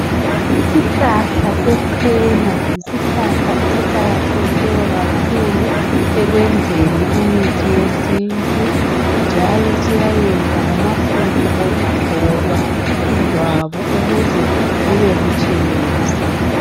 Isihlahla sechena yisihlahla esiqakathekileyo kakhulu ekwenzeni imithi yesintu njalo siyayenza lamafutha okugcoba ijwabu ukuze libe butshelezi.